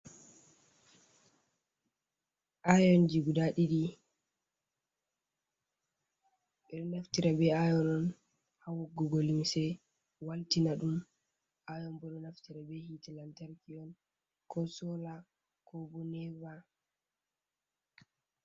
Iyonji guda ɗiɗi, ɓeɗo naftira be iyon on ha woggugo lumce waltina ɗum iyon bo ɗo naftira ɓe hitte lantarki on ko sola ko bo nepa.